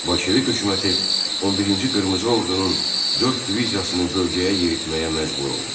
Bolşevik hökuməti 11-ci qırmızı ordunun dörd diviziyasını bölgəyə yeritməyə məcbur oldu.